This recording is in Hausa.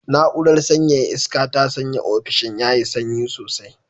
Na'urar sanyaya iska ta sanya ofishin yayi sanyi sosai.